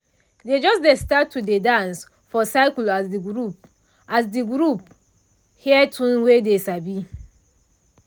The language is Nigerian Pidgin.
dey just start to dey dance for circle as de group as de group hear tune wey dey sabi.